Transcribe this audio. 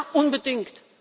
Ja, unbedingt!